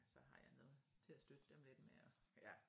Så har jeg noget til at støtte dem lidt med og